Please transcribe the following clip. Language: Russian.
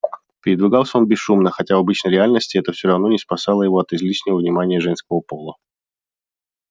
передвигался он бесшумно хотя в обычной реальности это все равно не спасало его от излишнего внимания женского пола